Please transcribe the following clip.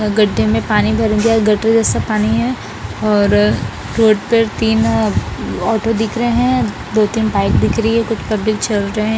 अ गड्डे में पानी भर गया गड्डे जैसा पानी हैं और रोड में तीन ऑटो दिख रहे हैं दो तीन बाइक दिख रही हैं कुछ पब्लिक छे रहे --